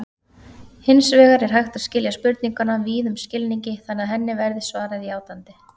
Hins vegar er hægt að skilja spurninguna víðum skilningi þannig að henni verði svarað játandi.